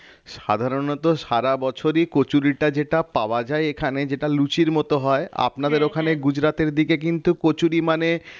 সাধারণত সারা বছরই কচুরিটা যেটা পাওয়া যায় এখানে যেটা লুচির মত হয় আপনাদের ওখানে গুজরাটের দিকে কিন্তু কচুরি মানে